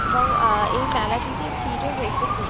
এবং অ্যা-আ এই মেলাটিতে ভিড়ও হয়েছে খুব।